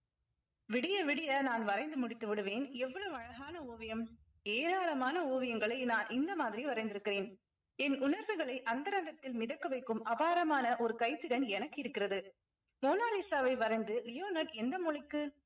விடிய விடிய நான் வரைந்து முடித்து விடுவேன் எவ்வளவு அழகான ஓவியம் ஏராளமான ஓவியங்களை நான் இந்த மாதிரி வரைந்திருக்கிறேன் என் உணர்வுகளை அந்தரங்கத்தில் மிதக்க வைக்கும் அபாரமான ஒரு கைத்திறன் எனக்கு இருக்கிறது மோனோலிஸாவை வரைந்து எந்த மொழிக்கு